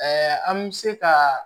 an bɛ se ka